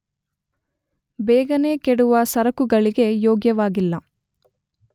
ಬೇಗನೆ ಕೆಡುವ ಸರಕುಗಳಿಗೆ ಯೋಗ್ಯವಾಗಿಲ್ಲ.